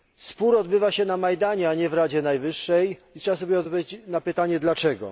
Spór odbywa się na Majdanie, a nie w Radzie Najwyższej, i trzeba sobie odpowiedzieć na pytanie dlaczego?